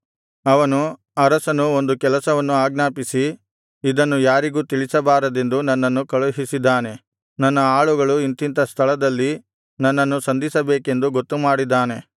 ಅವನು ಅರಸನು ಒಂದು ಕೆಲಸವನ್ನು ಆಜ್ಞಾಪಿಸಿ ಇದನ್ನು ಯಾರಿಗೂ ತಿಳಿಸಬಾರದೆಂದು ನನ್ನನ್ನು ಕಳುಹಿಸಿದ್ದಾನೆ ನನ್ನ ಆಳುಗಳು ಇಂಥಿಂಥ ಸ್ಥಳದಲ್ಲಿ ನನ್ನನ್ನು ಸಂಧಿಸಬೇಕೆಂದು ಗೊತ್ತುಮಾಡಿದ್ದಾನೆ